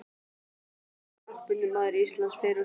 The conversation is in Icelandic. Besti knattspyrnumaður íslands fyrr og síðar?